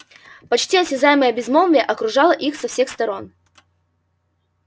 почти осязаемое безмолвие окружало их со всех сторон